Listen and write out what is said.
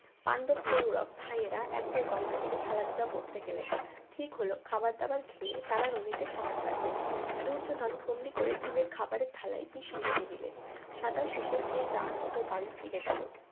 পাণ্ডব গৌরব ভাইয়েরা একবার গঙ্গাতীরে খেলাধুলা করতে গেলেন ঠিক হল খাবার দাবার খেয়ে তারা নদীতে সাঁতার কাটবেন দূর্যোধন বন্দী করে ভীমের খাবারের থালায় বিষ মিশিয়ে দিলেন সাঁতার শেষে যে যার মত বাড়ি ফিরে গেল